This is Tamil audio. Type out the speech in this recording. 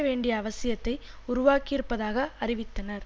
வேண்டிய அவசியத்தை உருவாக்கியிருப்பதாக அறிவித்தனர்